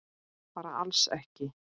Bara alls ekki?